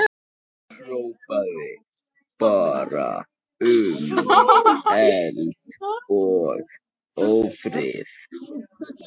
Hrópaði bara um eld og ófrið.